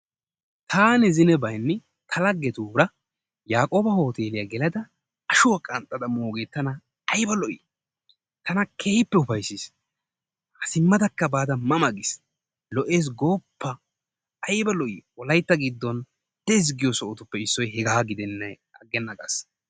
Taani zinebaygni ta lagetura Yakoba hootteliyaa gelada ashuwaa qanxadda mooge tana aybba lo'i, tana keehippe upayssis simadakka baada ma ma giis lo'ees gooppa! ayyibba lo'i wolaytta gidon dees giyo sohottuppe issoy hegaa gidenaani aganna gaas.